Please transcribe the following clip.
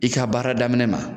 I ka baara daminɛ na.